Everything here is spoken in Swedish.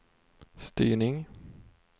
styrning